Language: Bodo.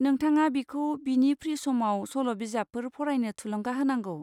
नोंथाङा बिखौ बिनि फ्रि समाव सल'बिजाबफोर फरायनो थुलुंगा होनांगौ।